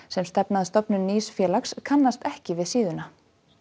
sem stefna að stofnun nýs félags kannast ekki við vefsíðuna